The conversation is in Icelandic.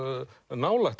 nálægt